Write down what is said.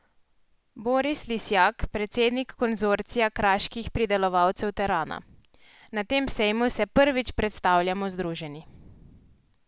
Boris Lisjak, predsednik Konzorcija kraških pridelovalcev terana: "Na tem sejmu se prvič predstavljamo združeni.